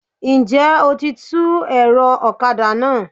N jẹ́ o ti tú ẹ̀rọ ọ̀kadà náà?